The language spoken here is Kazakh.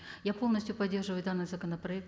я полностью поддерживаю данный законопроект